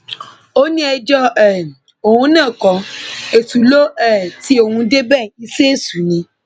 ó ní ẹjọ um òun náà kó èṣù lọ um tí òun débẹ iṣẹ èṣù ni